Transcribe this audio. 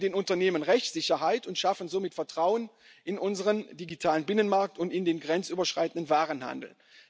Wir geben den Unternehmen Rechtssicherheit und schaffen somit Vertrauen in unseren digitalen Binnenmarkt und in den grenzüberschreitenden Warenhandel.